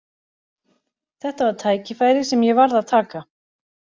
Þetta var tækifæri sem ég varð að taka.